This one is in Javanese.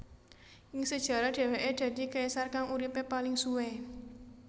Ing sejarah dheweke dadi kaisar kang uripe paling suwe